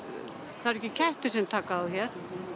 það eru ekki kettir sem taka þá hér